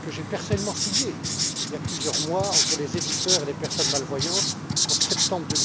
que j'ai personnellement signé il y a plusieurs mois, entre les éditeurs et les personnes malvoyantes, en septembre